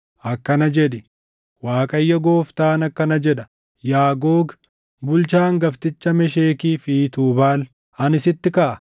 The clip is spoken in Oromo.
akkana jedhi: ‘ Waaqayyo Gooftaan akkana jedha: Yaa Googi, bulchaa hangafticha Meshekii fi Tuubaal, ani sitti kaʼa.